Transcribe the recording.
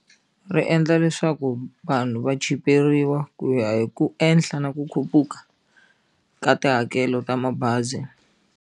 Ri endla leswaku vanhu va chiperiwa ku ya hi ku ehla na ku khuphuka ka tihakelo ta mabazi.